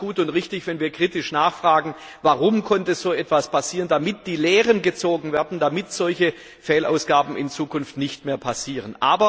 Und da ist es gut und richtig, wenn wir kritisch nachfragen, warum konnte so etwas passieren, damit die Lehren gezogen werden, damit solche Fehlausgaben in Zukunft nicht mehr passieren.